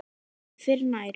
Ég fer nær.